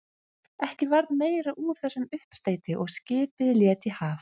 Ekki varð meira úr þessum uppsteyti og skipið lét í haf.